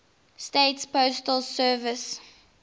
states postal service